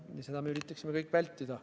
Seda me kõik üritaksime vältida.